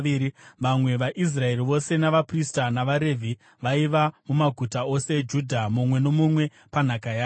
Vamwe vaIsraeri vose, navaprista navaRevhi, vaiva mumaguta ose eJudha, mumwe nomumwe panhaka yake.